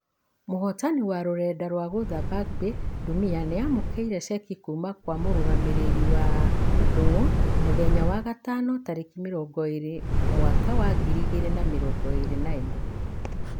Mũhotani wa rũrenda twa gũutha bangbe ndumia nĩamũkeire cheki kuuma gwe mũrugamĩrĩri wa .......ndung'u muthenya wa gatano tarĩki mĩrongo ĩrĩ mwaka wa ngiri igĩrĩ na mĩrongo ĩrĩ na ĩmwe.